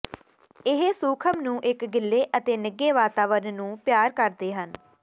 ਇਹ ਸੂਖਮ ਨੂੰ ਇੱਕ ਗਿੱਲੇ ਅਤੇ ਨਿੱਘੇ ਵਾਤਾਵਰਣ ਨੂੰ ਪਿਆਰ ਕਰਦੇ ਹਨ